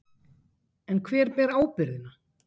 En hver ber ábyrgðina?